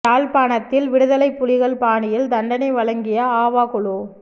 யாழ்ப்பாணத்தில் விடுதலைப் புலிகள் பாணியில் தண்டனை வழங்கிய ஆவா குழு